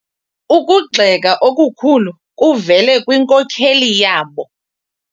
Ukugxeka okukhulu kuvele kwinkokeli yabo.